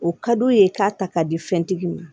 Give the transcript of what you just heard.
O ka d'u ye k'a ta k'a di fɛntigi ma